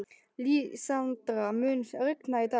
Lísandra, mun rigna í dag?